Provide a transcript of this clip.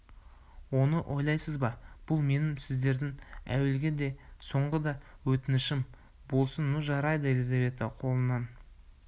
оны ойлайсыз ба бұл менің сіздерден әуелгі де соңғы да өтінішім болсын ну жарайды елизавета қолынан